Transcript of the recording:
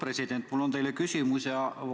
Austatud Eesti Panga president!